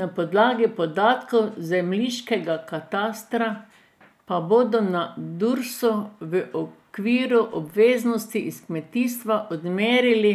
Na podlagi podatkov zemljiškega katastra pa bodo na Dursu v okviru obveznosti iz kmetijstva odmerili